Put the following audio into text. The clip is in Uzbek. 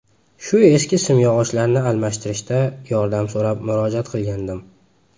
Shu eski simyog‘ochlarni almashtirishda yordam so‘rab murojaat qilgandim.